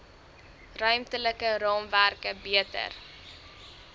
ruimtelike raamwerke beter